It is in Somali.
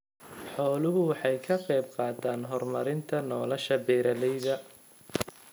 Xooluhu waxay ka qaybqaataan horumarinta nolosha beeralayda.